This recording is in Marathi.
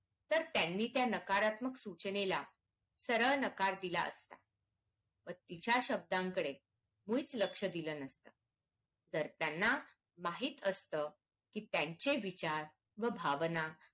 तर त्यांनी त्या नाकारत्मक सूचनेला सरळ नकार दिला असता व तिच्या शब्दाकडे मुळीच लक्ष दिल नसतं तर त्यांना माहित असतं कि त्यांचे विचार व भावना